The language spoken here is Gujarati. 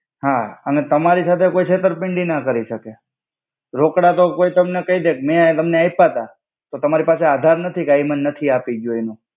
હા અને તમારી સાથે કોઇ ચેત્તર્પિંડિ ના કરી સકે રોકડા તો કોઇ તમને કઈ દે મે તમને આઇપા તા તો તમારી પાસે આધાર નથી કે ઇ મને નથી આપી ગ્યો એનુ.